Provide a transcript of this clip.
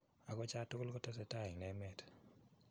Ago cha tugul kotesetai en emet?